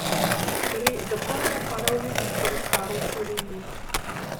Gre za prvo paraolimpijsko razstavo v Sloveniji.